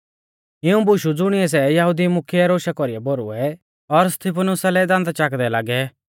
इऊं बुशु शुणियौ सै यहुदी मुख्यै रोशा कौरी भौरुऐ और स्तिफनुसा लै दांदा चाकदै लागै